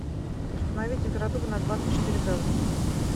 установить температуру на двадцать четыре градуса